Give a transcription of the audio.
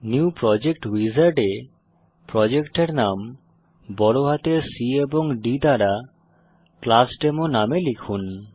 new project wizard এ প্রজেক্টের নাম C এবং D বড় হাতের দ্বারা ক্লাসডেমো নামে লিখুন